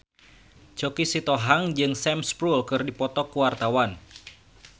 Choky Sitohang jeung Sam Spruell keur dipoto ku wartawan